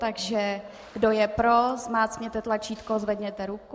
Takže kdo je pro, zmáčkněte tlačítko, zvedněte ruku.